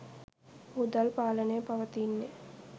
මුදල් පාලනය පවතින්නේ